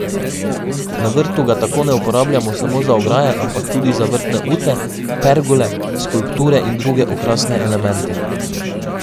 Na vrtu ga tako ne uporabljamo samo za ograje, ampak tudi za vrtne ute, pergole, skulpture in druge okrasne elemente.